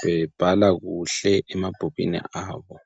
bebhala kuhle emabhukwini abo.